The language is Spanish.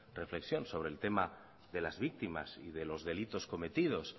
reflexión sobre el tema de las víctimas y de los delitos cometidos